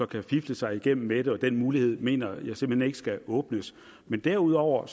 kan fifle sig igennem med det og den mulighed mener jeg simpelt hen ikke skal åbnes derudover